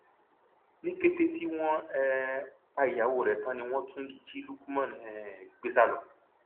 ní kété tí wọn um pa ìyàwó rẹ tán ni wọn tún jí lukman um gbé sá lọ